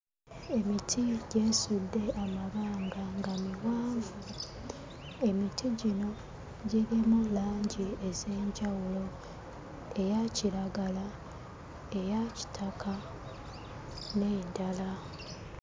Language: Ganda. Emiti gyesudde amabanga nga miwanvu. Emiti gino girimu langi ez'enjawulo: eya kiragala, eya kitaka n'endala.